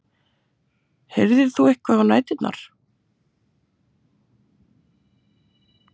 Heyrðir þú eitthvað á næturnar?